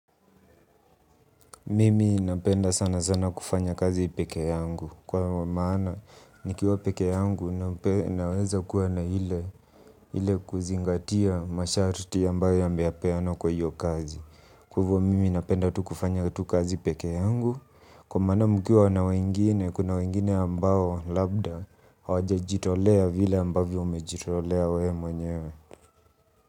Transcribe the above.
Mimi napenda sana sana kufanya kazi peke yangu kwa maana nikiwa peke yangu naweza kuwa na hile kuzingatia masharti ambayo yamepeanwa kwa hiyo kazi. Kwaivo mimi napenda tu kufanya tu kazi peke yangu kwa maana mkiwa na wengine kuna wengine ambao labda hawajajitolea vile ambavyo umejitolea we mwenyewe.